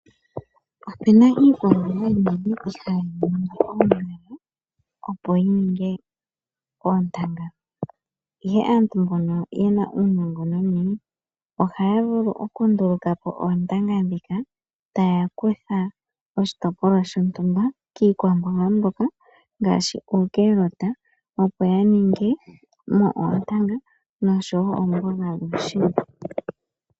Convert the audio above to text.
Opena iikwamboga yimwe ihayi ningi oongala opo yi ninge oontanga. Ihe aantu mbonno yena uunongononi ohaya ndulukapo oontanga taya longitha oshitopolwa shoshikwamboga shoka ngaashi uunawamundesha noshowo omboga yuushimba.